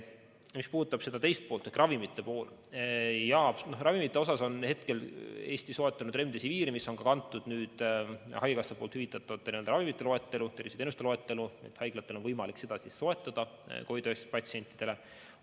Mis puudutab küsimuse teist poolt ehk ravimeid, siis Eesti on soetanud Remdesiviri, mis on kantud haigekassa hüvitatavate ravimite loetellu, terviseteenuste loetellu ja haiglatel on võimalik seda soetada COVID-19 patsientidele.